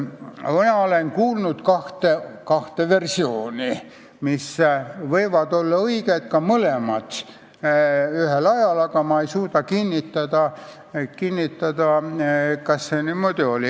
Mina olen kuulnud kahte versiooni, mis võivad olla õiged ka mõlemad ühel ajal, aga ma ei suuda kinnitada, kas see niimoodi oli.